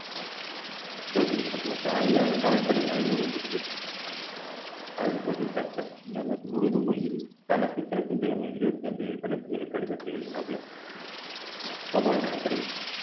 தோற்கடிக்கப்பட்டு ஒருத்தன் ஐயாயிரம் காலப்படை ஐநூறு அவர் போதித்தப்பர் எனக்கு உருது மொழியில் தனக்குபிறகு இருபத்தைந்து கணக்குகளைக் கடிதத்தை எழுதினாப்ல கோபால் நாயக்கரின்